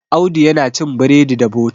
Audu yana cin bredi da bota